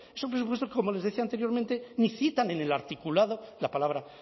esos presupuestos como les decía anteriormente ni citan en el articulado la palabra